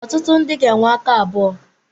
Ọtụtụ ndị ga-enwe aka abụọ.